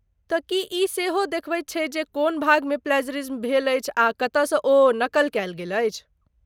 तँ की ई सेहो देखबैत छैक जे कोन भागमे प्लैज़रिज्म भेल अछि आ कतयसँ ओ नकल कयल गेल अछि?